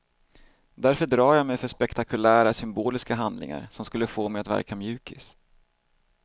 Därför drar jag mig för spektakulära, symboliska handlingar som skulle få mig att verka mjukis.